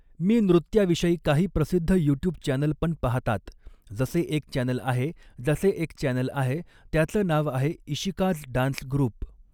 मी नृत्याविषयी काही प्रसिद्ध युट्यूब चॅनल पण पाहतात जसे एक चॅनल आहे जसे एक चॅनल आहे त्याचं नाव आहे इशिकाजडांसग्रुप